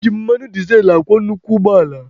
Eji mmanụ dizel akwọ nnukwu ụgbọala.